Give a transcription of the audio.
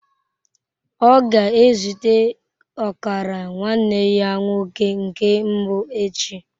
Ọ ga-ezute ọkara nwanne ya nwoke nke mbụ echi.